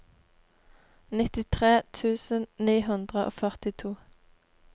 nittitre tusen ni hundre og førtito